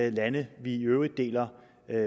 i lande vi i øvrigt deler